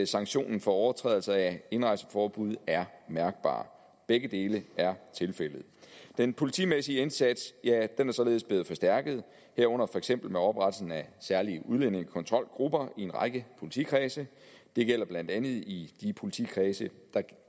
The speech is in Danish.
sanktionen for overtrædelse af indrejseforbud er mærkbar begge dele er tilfældet den politimæssige indsats er er således blevet forstærket herunder for eksempel med oprettelsen af særlige udlændingekontrolgrupper i en række politikredse det gælder blandt andet i de politikredse der